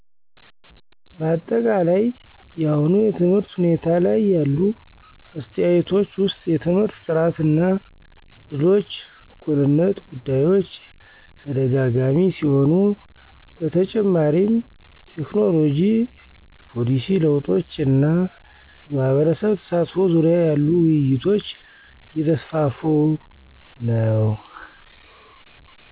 በአጠቃላይ የአሁኑ የትምህርት ሁኔታ ላይ ያሉ አስተያየቶች ውሰጥ የትምህርት ጥራት እና እድሎች እኩልነት ጉዳዮች ተደጋጋሚ ሲሆኑ በተጨማሪም ቴክኖሎጂ የፖሊሲ ለውጦች እና የማህበረሰብ ተሳትፎ ዙርያ ያሉ ውይይቶች እየተሰፋፉ ነው።